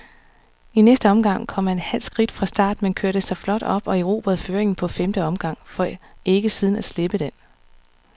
I næste omgang kom han halvskidt fra start, men kørte sig flot op og erobrede føringen på femte omgang, for ikke siden at slippe den.